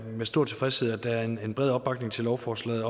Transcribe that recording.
med stor tilfredshed at der er en bred opbakning til lovforslaget